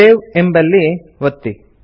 save ಎಂಬಲ್ಲಿ ಒತ್ತಿ